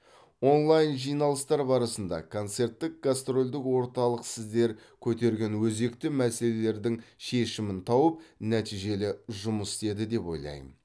онлайн жиналыстар барысында концерттік гастрольдік орталық сіздер көтерген өзекті мәселелердің шешімін тауып нәтижелі жұмыс істеді деп ойлайм